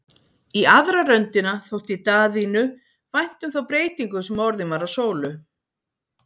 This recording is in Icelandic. Í aðra röndina þótti Daðínu vænt um þá breytingu sem orðin var á Sólu.